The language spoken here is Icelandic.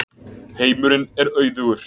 Heimurinn er auðugur.